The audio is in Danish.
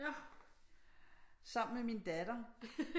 Sammen med min datter